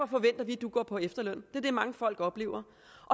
forventer vi at du går på efterløn det er det mange folk oplever